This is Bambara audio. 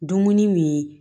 Dumuni min